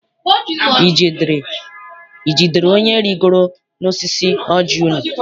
I jidere onye rigoro n'osisi ọji unu?